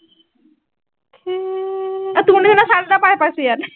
আহ তোৰ নিচিনা shirt এটা পায়, পাইছো ইয়াত